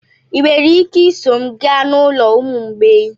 Ị nwere ike iso m gaa n'ụlọ ụmụ mgbei?